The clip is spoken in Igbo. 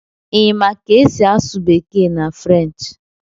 Ị ma ka esi asụ bekee na French